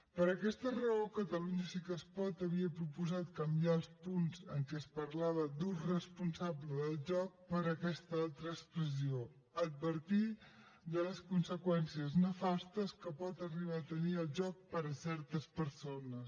per aquesta raó catalunya sí que es pot havia proposat canviar els punts en què es parlava d’ ús responsable del joc per aquesta altra expressió advertir de les conseqüències nefastes que pot arribar a tenir el joc per a certes persones